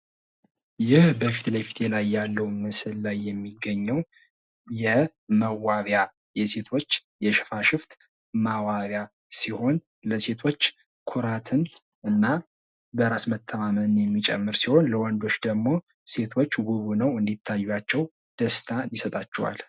ይህ በፊለፊቴ ላይ ያለው ምስል ላይ የሚገኘው የመዋቢያ የሴቶች የሽፋሽፍት ማስዋቢያ ሲሆን ለሴቶች ኩራትን እና በራስ መተማመንን የሚጨምር ሲሆን ለወንዶች ደግሞ ሴቶች ዉብ ሆነው እንዲታይዋቸው ደስታን ይሰጣቸዋል::